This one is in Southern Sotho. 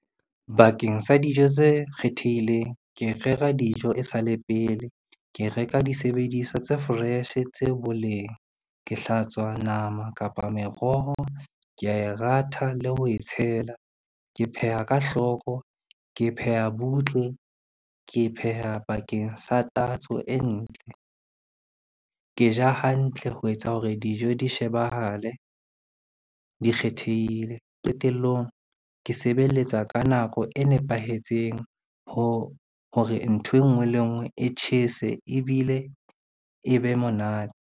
Bakeng sa dijo tse kgethehileng, ke rera dijo e sa le pele, ke reka disebediswa tse fresh tse boleng, ke hlatswa nama kapa meroho, kea e ratha le ho e tshela. Ke pheha ka hloko, ke pheha butle, ke pheha bakeng sa tatso e ntle. Ke ja hantle ho etsa hore dijo di shebahale di kgethehile. Qetellong, ke sebeletsa ka nako e nepahetseng hore ntho e ngwe le e ngwe e tjhese ebile e be monate.